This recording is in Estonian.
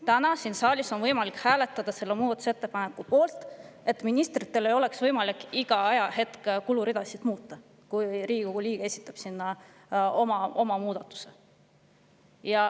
Täna siin saalis on võimalik hääletada selle muudatusettepaneku poolt, et ministritel ei oleks võimalik igal ajahetkel kuluridasid muuta, kui Riigikogu liige on juba esitanud oma muudatuse.